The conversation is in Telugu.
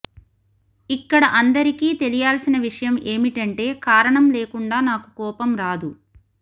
ఇక్కడ అందరికీ తెలియాల్సిన విషయం ఏమిటంటే కారణం లేకుండా నాకు కోపం రాదు